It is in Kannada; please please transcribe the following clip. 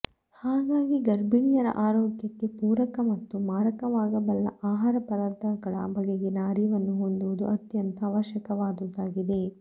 ಹಾಗಾಗಿ ಗರ್ಭಿಣಿಯರ ಆರೋಗ್ಯಕ್ಕೆ ಪೂರಕ ಮತ್ತು ಮಾರಕವಾಗಬಲ್ಲ ಆಹಾರಪದಾರ್ಥಗಳ ಬಗೆಗಿನ ಅರಿವನ್ನು ಹೊಂದುವುದು ಅತ್ಯಂತ ಅವಶ್ಯಕವಾದುದಾಗಿದೆ